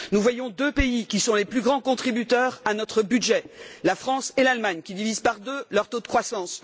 Nous voyons deux pays, qui sont les plus grands contributeurs à notre budget, la France et l'Allemagne, qui divisent par deux leur taux de croissance.